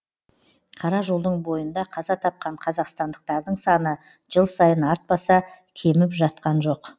қара жолдың бойында қаза тапқан қазақстандықтардың саны жыл сайын артпаса кеміп жатқан жоқ